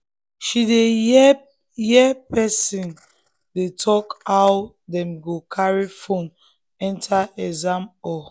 she hear hear person dey talk how dem go carry phone enter exam hall.